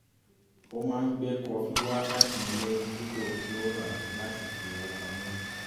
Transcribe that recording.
ó máa gbé kọfí wá láti ilé dípò kí ó rà á láti fi owó pamọ́